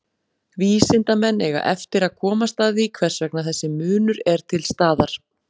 Vísindamenn eiga eftir að komast að því hvers vegna þessi munur er til staðar.